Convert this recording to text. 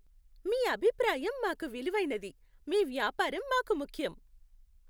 మీ అభిప్రాయం మాకు విలువైనది, మీ వ్యాపారం మాకు ముఖ్యం.